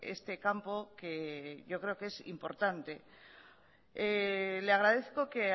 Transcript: este campo que yo creo que es importante le agradezco que